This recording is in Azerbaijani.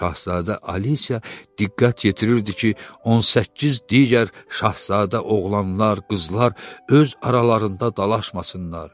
Şahzadə Alisiya diqqət yetirirdi ki, 18 digər şahzadə oğlanlar, qızlar öz aralarında dalaşmasınlar.